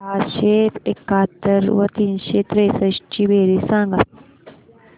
सहाशे एकाहत्तर व तीनशे त्रेसष्ट ची बेरीज सांगा